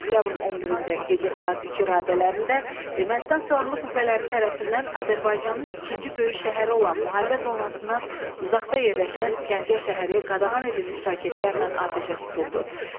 Oktyabrın 11-də gecə saat 2 radələrində Ermənistan silahlı qüvvələri tərəfindən Azərbaycanın ikinci böyük şəhəri olan müharibə zonasından uzaqda yerləşən Gəncə şəhəri qadağan edilmiş raketlərlə atəşə tutuldu.